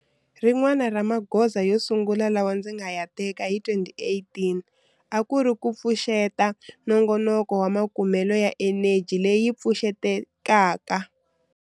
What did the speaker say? Rin'wana ra magoza yo sungula lawa ndzi nga ya teka hi 2018 a ku ri ku pfuxeta nongonoko wa makumelo ya eneji leyi pfuxetekaka.